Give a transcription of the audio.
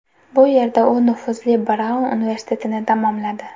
Bu yerda u nufuzli Braun universitetitini tamomladi.